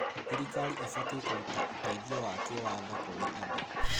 Thirikari ĩbatiĩ kũruta ũteithio wa kĩwatho kũrĩ andũ.